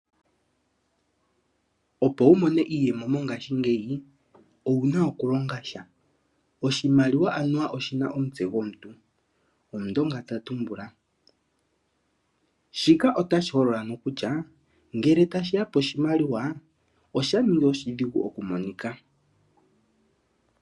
Opo wu mone iiyemo mongaashingeyi owuna oku longasha, oshimaliwa anuwa oshina omutse gwomuntu, omundonga ta tumbula, shika otashi holola nokutya ngele tashiya poshimaliwa osha ningi oshidhigu oku monika